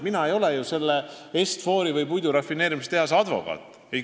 Mina ei ole ju Est-For Investi või selle puidurafineerimistehase advokaat.